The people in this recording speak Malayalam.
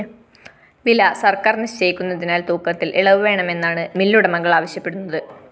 വില സര്‍ക്കാര്‍ നിശ്ചയിക്കുന്നതിനാല്‍ തൂക്കത്തില്‍ ഇളവ് വേണമെന്നാണ് മില്ലുടമകള്‍ അവശ്യപ്പെടുന്നത്